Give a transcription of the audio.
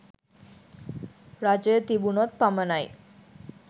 රජය තිබුණොත් පමණයි.